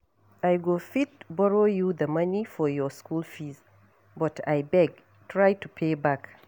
I go fit borrow you the money for your school fees but abeg try to pay back.